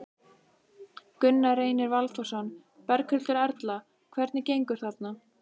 Gunnar Reynir Valþórsson: Berghildur Erla, hvernig gengur þarna?